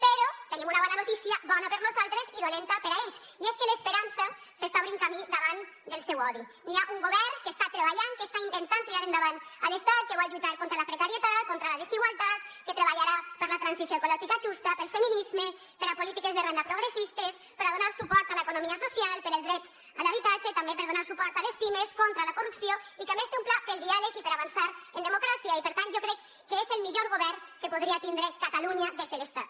però tenim una bona notícia bona per nosaltres i dolenta per a ells i és que l’esperança s’està obrint camí davant del seu odi hi ha un govern que està treballant que està intentant tirar endavant a l’estat que vol lluitar contra la precarietat contra la desigualtat que treballarà per la transició ecològica justa pel feminisme per a polítiques de renda progressistes per a donar suport a l’economia social per al dret a l’habitatge també per donar suport a les pimes contra la corrupció i que a més té un pla pel diàleg i per avançar en democràcia i per tant jo crec que és el millor govern que podria tindre catalunya des de l’estat